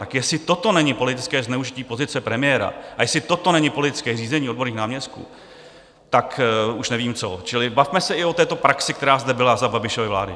Tak jestli toto není politické zneužití pozice premiéra a jestli toto není politické řízení odborných náměstků, tak už nevím co, čili bavme se i o této praxi, která zde byla za Babišovy vlády.